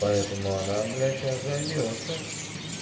поэтому она бля сейчас займётся